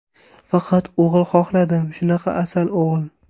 Faqat o‘g‘il xohladim, shunaqa asal o‘g‘il.